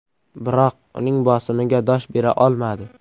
Biroq uning bosimiga dosh bera olmadi.